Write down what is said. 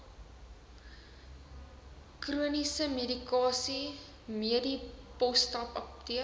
chroniese medikasie medipostapteek